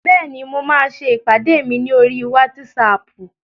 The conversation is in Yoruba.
Bẹ́ẹ̀ni, mo máa ṣe ìpàdé mi ní oríi wátísapù